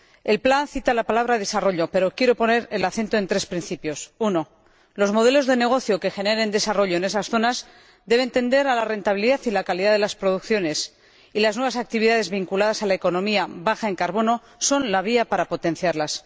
La estrategia cita la palabra desarrollo, pero quiero poner el acento en tres principios En primer lugar, los modelos de negocio que generen desarrollo en esas zonas deben tender a la rentabilidad y la calidad de las producciones, y las nuevas actividades vinculadas a la economía baja en carbono son la vía para potenciarlas.